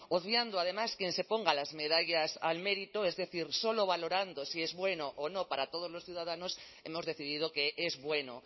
obviando además quien se ponga las medallas al mérito es decir solo valorando si es bueno o no para todos los ciudadanos hemos decidido que es bueno